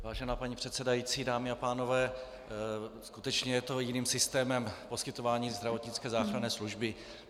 Vážená paní předsedající, dámy a pánové, skutečně je to jiným systémem poskytování zdravotnické záchranné služby.